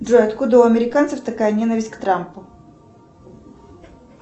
джой откуда у американцев такая ненависть к трампу